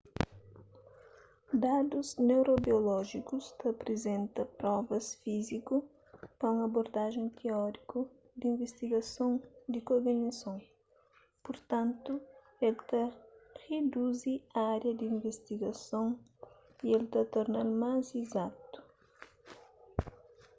dadus neurobiolójikus ta aprizenta provas fíziku pa un abordajen tióriku di invistigason di kognison purtantu el ta riduzi ária di invistigason y el ta torna-l más izatu